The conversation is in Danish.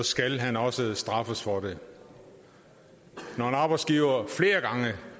skal han også straffes for det når en arbejdsgiver flere gange